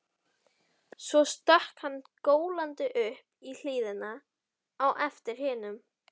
Svo stökk hann gólandi upp í hlíðina á eftir hinum.